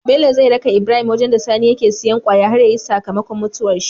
Bello zai raka Ibrahim wajan da sani yake siyan kwaya har yayi saka makon mutuwar shi